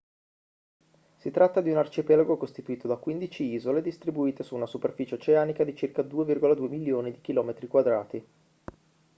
si tratta di un arcipelago costituito da 15 isole distribuite su una superficie oceanica di circa 2,2 milioni di km²